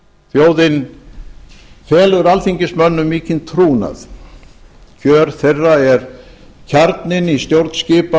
þjóðin felur alþingismönnum mikinn trúnað kjör þeirra er kjarninn í stjórnskipan